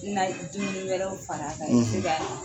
Na ye dumuni wɛrɛw fara ka o bɛ se ka